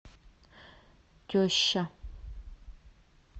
теща